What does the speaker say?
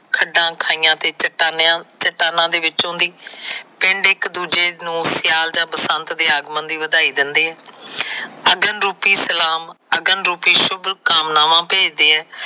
ਖੱਡਾ ਖਾਈਆਂ ਤੇ ਚੱਟਾਨਾ ਵਿੱਚੋ ਦੀ ਪਿੰਡ ਇਕ ਦੂਜੇ ਨੂੰ ਸਿਆਲ ਜਾਂ ਬਸੰਤ ਦੇ ਆਗਮਨ ਦੀ ਵਧਾਈ ਦਿੰਦੇ। ਅਗਨ ਰੂਪੀ ਸਲਾਮ। ਅਗਨ ਰੂਪੀ ਸ਼ੁੱਭ ਕਾਮਨਾ ਭੇਜਦੇ ਆ।